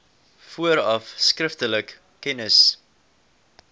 vooraf skriftelik kennis